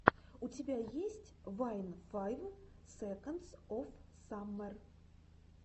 у тебя есть вайн файв секондс оф саммер